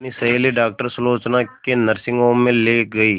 अपनी सहेली डॉक्टर सुलोचना के नर्सिंग होम में ली गई